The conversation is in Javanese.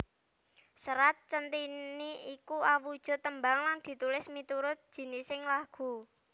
Serat Centhini iku awujud tembang lan ditulis miturut jinising lagu